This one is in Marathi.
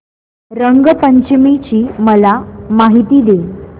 रंग पंचमी ची मला माहिती दे